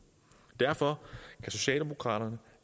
derfor kan socialdemokraterne